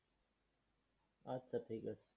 আচ্ছা, ঠিকাছে।